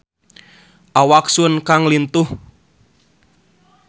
Awak Sun Kang lintuh